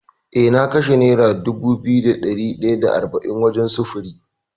Eh na kashe nera dubu biyu da ɗari ɗaya da arba’in wajen sufuri.